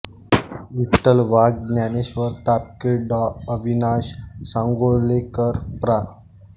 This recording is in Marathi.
विठ्ठल वाघ ज्ञानेश्वर तापकीर डॉ अविनाश सांगोलेकर प्रा